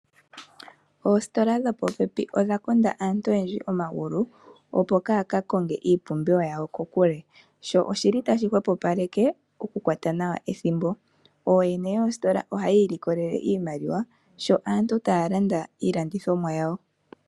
Oositola dhopopepi odha konda aantu oyendji omagulu opo kaaya ka konge iipumbiwa yawo kokule, sho oshili tashi hwepopaleke okukwata nawa ethimbo. Ooyene yoositola oyeli taya ilikolele iimaliwa sho aantu taya landa iiladhithomwa yawo.